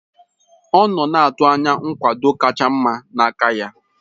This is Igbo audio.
Ọ nọ na-atụ anya nkwado kacha mma n'aka ya.